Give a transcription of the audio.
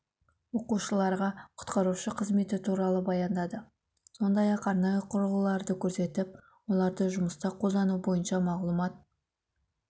оқушыларға құтқарушы қызметі туралы баяндады сондай ақ арнайы құрылғыларды көрсетіп оларды жұмыста қолдану бойынша мағұлмат